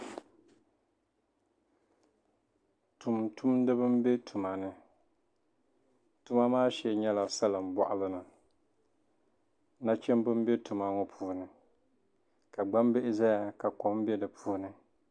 tumtundiba m-be tuma ni tuma maa shee nyɛla salin' bɔɣili ni nachimba m- betuma ŋɔ puuni ka gbambihi zaya ka kom be di puuni